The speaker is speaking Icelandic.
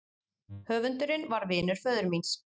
Höfundurinn var vinur föður míns.